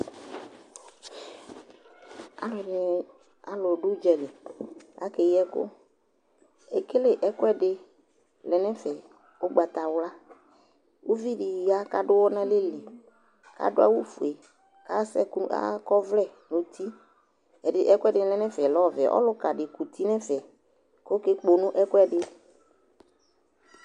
Alʋɛdɩnɩ, alʋ dʋ ʋdza li kʋ akeyi ɛkʋ Ekele ɛkʋɛdɩ lɛ nʋ ɛfɛ ʋgbatawla Uvi dɩ ya kʋ adʋ ʋɣɔ nʋ alɛ li kʋ adʋ awʋfue kʋ asɛ ɛkʋ akɔ ɔvlɛ nʋ uti Ɛdɩ, ɛkʋɛdɩnɩ lɛ nʋ ɛfɛ lɛ ɔvɛ Ɔlʋka dɩ kuti nʋ ɛfɛ kʋ ɔkekpono ɛkʋɛdɩ